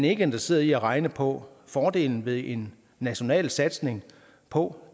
ikke interesseret i at regne på fordelen ved en national satsning på